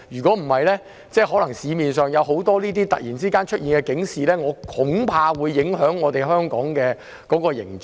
否則，我恐怕市面上可能突然出現的這些警示會影響香港的形象。